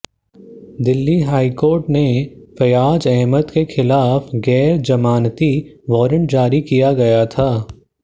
Delhi high court ने फैयाज अहमद के खिलाफ गैर जमानती वॉरेंट जारी किया गया था